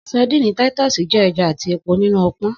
Sadíìnì titus jẹ ẹja ati epo ninu ọpọn.